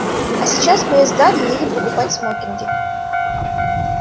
а сейчас мы с дадли едем покупать смокинги